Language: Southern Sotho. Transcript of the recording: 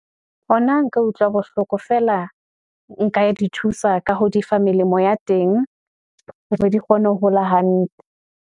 Hona nka utlwa bohloko feela, nka di thusa ka ho di fa melemo ya teng. Hore di kgone ho hola hantle.